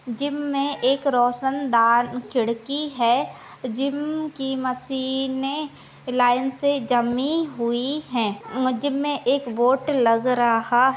gym मे एक रोशनदार खिड़की है जिम की मसीने लाइन से जमी हुई है मुझमे एक लग रहा--